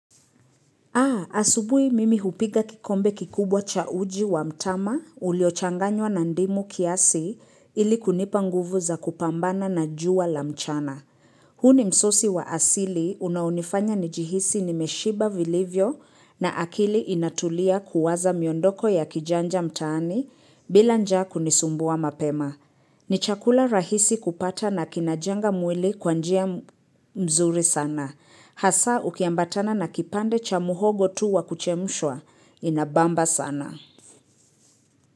Asubuhi mimi hupiga kikombe kikubwa cha uji wa mtama ulio changanywa na ndimu kiasi ili kunipa nguvu za kupambana na jua la mchana. Huu ni msosi wa asili unao nifanya njihisi nimeshiba vilivyo na akili inatulia kuwaza miondoko ya kijanja mtani bila nja kunisumbua mapema. Ni chakula rahisi kupata na kinajenga mwili kwanjia mzuri sana. Hasa ukiambatana na kipande cha muhogo tu wakuchemshwa, inabamba sana.